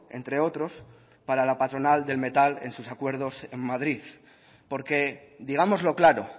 entre otros para la patronal del metal en sus acuerdos en madrid porque digámoslo claro